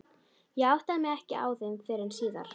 Ég áttaði mig ekki á þeim fyrr en síðar.